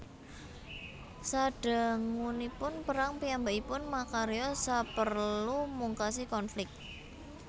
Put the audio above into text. Sadangunipun perang piyambakipun makarya saperlu mungkasi konflik